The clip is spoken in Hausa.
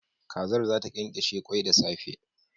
Kazar zata kyankyashe kwai da safe